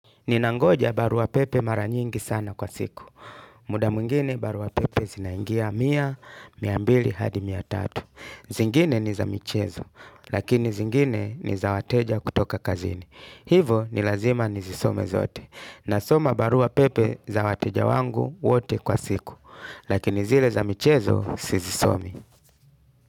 Ninangoja barua pepe mara nyingi sana kwa siku. Muda mwingine barua pepe zinaingia mia, mia mbili hadi mia tatu. Zingine ni za michezo, lakini zingine ni za wateja kutoka kazini. Hivo ni lazima nizisome zote. Nasoma barua pepe za wateja wangu wote kwa siku. Lakini zile za michezo sizisomii.